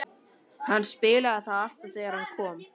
Hann spilaði það alltaf þegar hann kom.